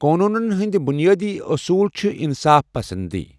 قونوٗنَن ہٕنٛدۍ بُنیٲدی اصوٗل چھِ انصاف پسنٛدی۔